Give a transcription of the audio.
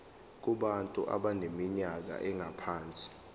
kubantu abaneminyaka engaphansi